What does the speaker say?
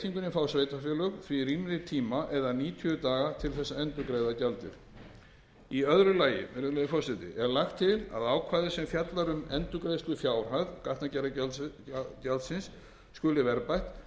fá sveitarfélög því rýmri tíma eða níutíu daga til að endurgreiða gjaldið í öðru lagi er lagt til að ákvæði sem fjallar um að endurgreiðslufjárhæð gatnagerðargjaldsins skuli verðbætt